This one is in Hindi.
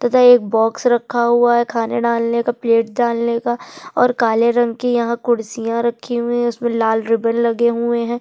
तथा एक बॉक्स रखा हुआ है खाने डालने का प्लेट डालने का और काले रंग की यहाँ कुर्सियां रखे हुए है उसमे लाल रिबन लगे हुए है।